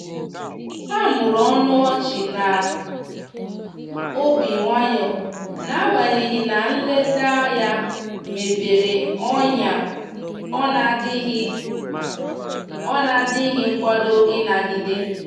ha mụrụ ọnụ ochi na obi nwayon'agbanyeghi na nleta ya mepere ọnya ọ na adighi ọ na adighi nkwado ị nagide.